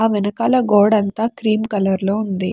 ఆ వెనకాల గోడంతా క్రీం కలర్ లో ఉంది.